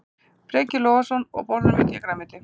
Breki Logason: Og borðarðu mikið af grænmeti?